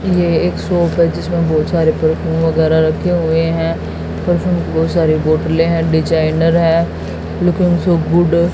ये एक शॉप है जिसमें बहोत सारे परफ्यूम वगैराह रखे हुए हैं परफ्यूम की बहुत सारी बोतले है डिजाइनर हैं लुकिंग सो गुड ।